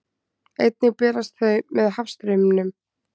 Einnig berast þau með hafstraumum.